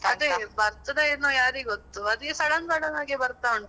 ಅದೇ ಬರ್ತದೇನೋ ಯಾರಿಗೊತ್ತು. ಅದು sudden sudden ಆಗಿ ಬರ್ತಾ ಉಂಟು.